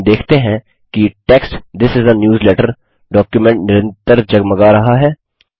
हम देखते हैं कि text this is a newsletter document निरंतर जगमगा रहा है